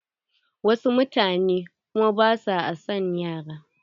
Wasu mutane kuma ba sua son yara.